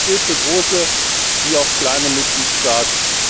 Das gilt für große wie auch kleine Mitgliedstaaten.